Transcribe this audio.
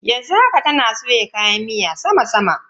Yanzu haka, tana soya kayan miyan sama sama.